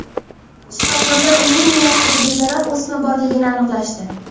Shifokorlar uning miyasida bezarar o‘sma borligini aniqlashdi.